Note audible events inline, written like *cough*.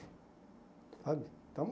Sabe? *unintelligible*